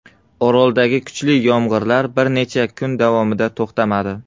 Oroldagi kuchli yomg‘irlar bir necha kun davomida to‘xtamadi.